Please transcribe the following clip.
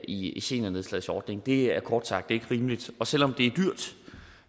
i i seniornedslagsordningen det er kort sagt ikke rimeligt og selv om det